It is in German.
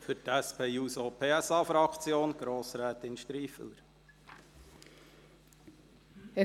Für die SP-JUSO-PSA-Fraktion: Grossrätin Striffeler.